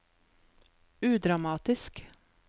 udramatisk